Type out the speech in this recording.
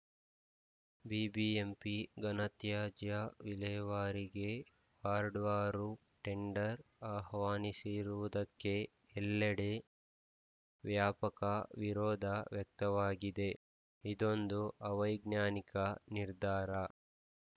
BBMP ಘನತ್ಯಾಜ್ಯ ವಿಲೇವಾರಿಗೆ ವಾರ್ಡ್‌ವಾರು ಟೆಂಡರ್‌ ಆಹ್ವಾನಿಸಿರುವುದಕ್ಕೆ ಎಲ್ಲೆಡೆ ವ್ಯಾಪಕ ವಿರೋಧ ವ್ಯಕ್ತವಾಗಿದೆ ಇದೊಂದು ಅವೈಜ್ಞಾನಿಕ ನಿರ್ಧಾರ